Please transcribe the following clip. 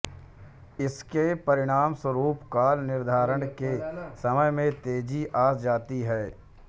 इसके परिणामस्वरूप कॉल निर्धारण के समय में तेजी आ जाती है